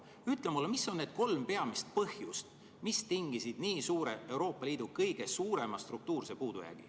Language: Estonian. Ütle mulle, mis on need kolm peamist põhjust, mis tingisid nii suure, Euroopa Liidu kõige suurema struktuurse puudujäägi.